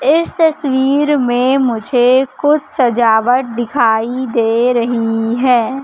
इस तस्वीर में मुझे कुछ सजावट दिखाई दे रही है।